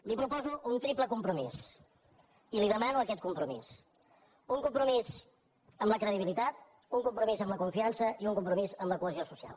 li proposo un triple compromís i li demano aquest compromís un compromís amb la credibilitat un compromís amb la confiança i un compromís amb la cohesió social